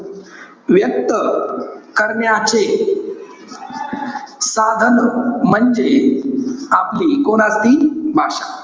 व्यक्त करण्याचे साधन, म्हणजे आपली कोण असती? भाषा.